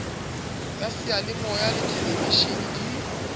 ya seyalemoya le theleveshene di